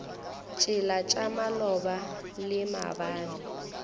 tšela tša maloba le maabane